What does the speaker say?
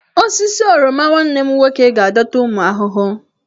Osisi oroma nwanne m nwoke ga-adọta ụmụ ahụhụ.